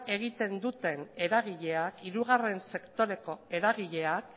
egiten duten eragileak hirugarren sektoreko eragileak